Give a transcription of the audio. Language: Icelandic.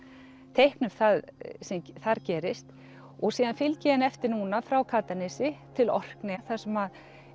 teikna það sem þar gerist og síðan fylgi ég henni eftir núna frá Katanesi til Orkneyja þar sem